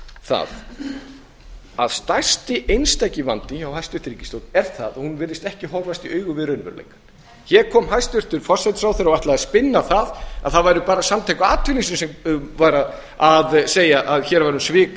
það að stærsti einstaki vandinn hjá hæstvirtri ríkisstjórn er sá að hún virðist ekki horfast í augu við raunveruleikann hér kom hæstvirtur forsætisráðherra og ætlaði að spinna það að á væru bara samtök atvinnulífsins sem væru að segja að hér væri um svik að